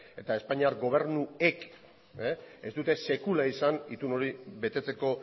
eta espainiar gobernuek ez dute sekula izan itun hori betetzeko